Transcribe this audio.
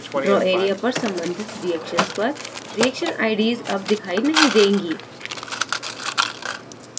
draw area पर संबंधित reaction पर reaction ids अब दिखाई नहीं देंगी